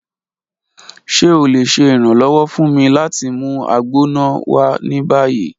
Ṣe o le ṣe iranlọwọ fun mi lati mu Agbona wa ni bayi?